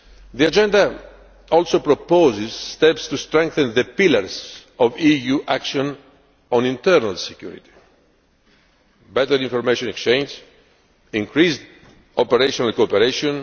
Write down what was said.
The Agenda also proposes steps to strengthen the pillars of EU action on internal security better information exchange increased operational cooperation